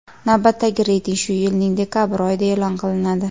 Navbatdagi reyting shu yilning dekabr oyida e’lon qilinadi.